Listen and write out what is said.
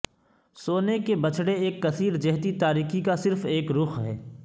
سونے کے بچھڑے ایک کثیر جہتی تاریکی کا صرف ایک رخ ہے